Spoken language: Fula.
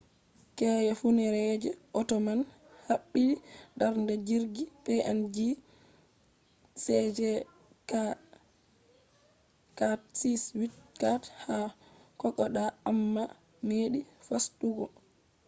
keya funeereejo ota man habdi darna jirgi png cg4684 ha kokoda amma meɗi fasutuggo